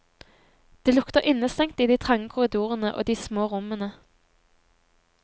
Det lukter innestengt i de trange korridorene og de små rommene.